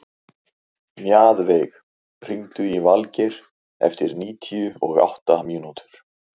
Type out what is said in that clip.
Mjaðveig, hringdu í Valgeir eftir níutíu og átta mínútur.